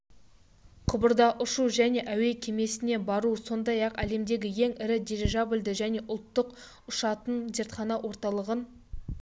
құбырда ұшу және әуе кемесіне бару сондай-ақ әлемдегі ең ірі дирижабльді және ұлттық ұшатын зертхана-орталығын